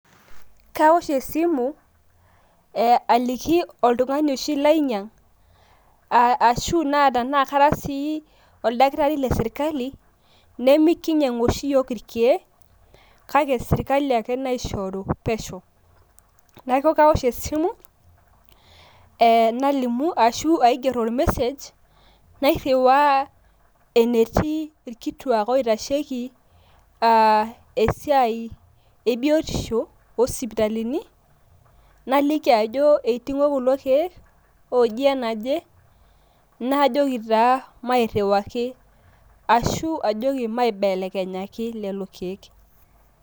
Kaosh esimu aliki oltung`ani oshi lainyiang, ashu naa tenaa kara sii oldakitari le sirkali nemekinyiang`u oshi iyiok ilkiek kake sirkali ake naishoru pesho. Niaku kawosh e simu nalimu, ashu aigerr olmesej nairriwaa enetii ilkituak oitasheki i esiai e biotisho oo sipitalini naliki ajo eiting`o kulo kiek ooji enaje. Najoki taa mairriwaki ashu aajoki maibelekenyaki lelo kiek.